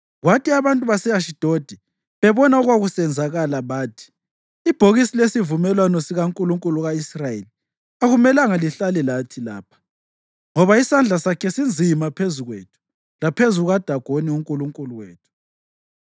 Kwathi abantu base-Ashidodi bebona okwakusenzakala, bathi, “Ibhokisi lesivumelwano sikankulunkulu ka-Israyeli akumelanga lihlale lathi lapha, ngoba isandla sakhe sinzima phezu kwethu laphezu kukaDagoni unkulunkulu wethu.”